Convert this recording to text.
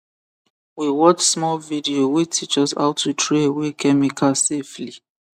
we watch small video wey teach us how to throw away chemical safely